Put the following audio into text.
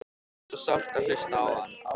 Það er svo sárt að hlusta á hann.